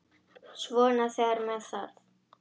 Svona þegar með þarf.